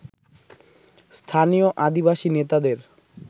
স্থানীয় আদিবাসী নেতাদের